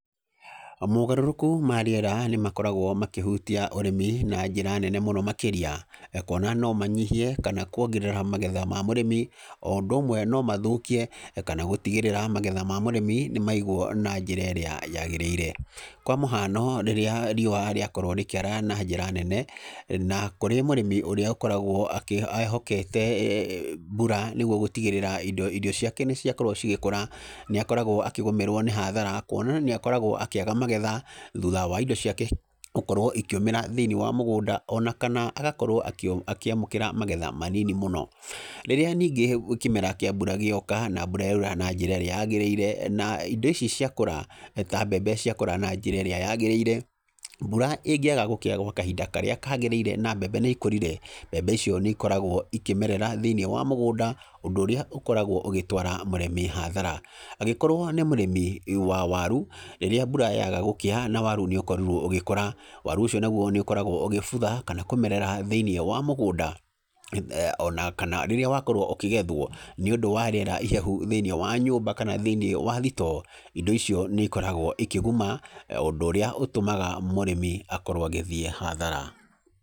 Mogarũrũku ma rĩera nĩ makoragwo makĩhutia ũrĩmi na njĩra nene mũno makĩria, kuona no manyihie kana kuongerera magetha ma mũrĩmi, o ũndũ ũmwe no mathũkie kana gũtigĩrĩra magetha ma mũrĩmi nĩ maigwo na njĩra ĩrĩa yagĩrĩire, kwa mũhano rĩrĩa riũa rĩakorwo rĩkĩara na njĩra nene, na kũrĩ mũrĩmi ũrĩa ehokete mbura nĩguo gũtigĩrĩra irio ciake nĩ ciakorwo cigĩkũra, nĩ akoragwo akĩgũmĩrwo nĩ hathara kuona nĩ akoragwo akĩaga magetha thutha wa indo ciake gũkorwo ikĩũmĩra thĩinĩ wa mũgũnda ona kana agakorwo akĩamũkĩra magetha manini mũno. Rĩrĩa ningĩ kĩmera kĩa mbura gĩoka, na mbura yaura na njĩra ĩrĩa yagĩrĩire na indo ici ciakũra, ta mbembe ciakũra na njĩra ĩrĩa yagĩrĩire, mbura ĩngĩaga gũkĩa gwa kahinda karĩa kagĩrĩire na mbembe nĩ ikũrire, mbembe icio nĩ ikoragwo ikĩmerera thĩinĩ wa mũgũnda, ũndũ ũrĩa ũkoragwo ũgĩtwara mũrĩmi hathara. Angĩkorwo nĩ mũrĩmi wa waru, rĩrĩa mbura yaga gũkĩa na waru nĩ ũkorirwo ũgĩkũra, waru ũcio naguo nĩ ũkoragwo ũgĩbutha kana kũmerera thĩinĩ wa mũgũnda ona kana rĩrĩa wakorwo ũkĩgethwo nĩũndũ wa rĩera ihehu thĩinĩ wa nyũmba kana thĩinĩ wa thitoo, indo icio nĩ ikoragwo ikĩguma, ũndũ ũrĩa ũtũmaga mũrĩmi akorwo agĩthiĩ hathara.